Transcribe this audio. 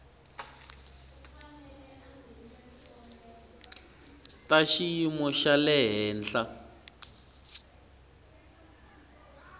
ta xiyimo xa le henhla